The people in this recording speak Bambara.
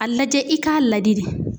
A lajɛ i k'a ladi de